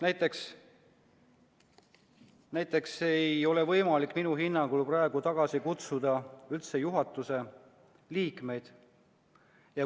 Näiteks ei ole minu hinnangul praegu üldse võimalik tagasi kutsuda juhatuse liikmeid.